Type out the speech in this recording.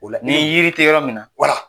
O la ni yiri tɛ yɔrɔ min na wala.